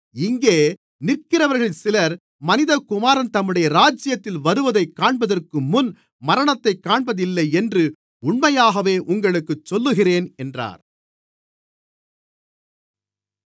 இங்கே நிற்கிறவர்களில் சிலர் மனிதகுமாரன் தம்முடைய ராஜ்யத்தில் வருவதைக் காண்பதற்குமுன் மரணத்தைக் காண்பதில்லை என்று உண்மையாகவே உங்களுக்குச் சொல்லுகிறேன் என்றார்